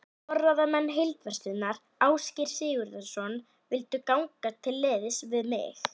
Forráðamenn Heildverslunar Ásgeirs Sigurðssonar vildu ganga til liðs við mig.